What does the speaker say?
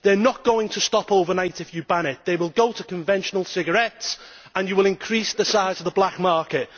They are not going to stop overnight if you ban them, they will go to conventional cigarettes and you will increase the size of the black market.